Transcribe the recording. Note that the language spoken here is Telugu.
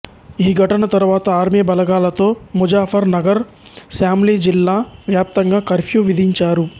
ఈ ఘటన తరువాత ఆర్మీ బలగాలతో ముజాఫర్ నగర్ శామ్లి జిల్లా వ్యాప్తంగా కర్ఫ్యూ విధించారు